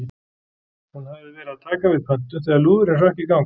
Hún hafði verið að taka við pöntun þegar lúðurinn hrökk í gang.